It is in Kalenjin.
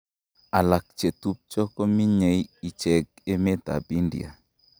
Alak chetubjo kominyei icheket emet ab India.